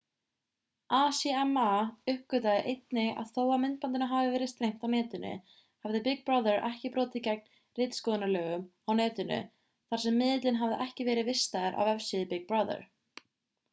acma uppgötvaði einnig að þó að myndbandinu hafi verið streymt á netinu hafði big brother ekki brotið gegn ritskoðunarlögum á netinu þar sem miðillinn hafði ekki verið vistaður á vefsíðu big brother